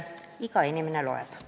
Iga inimene loeb!